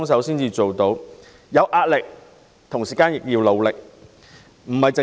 雖然大家有壓力，但仍很努力。